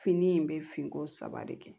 Fini in bɛ finko saba de kɛ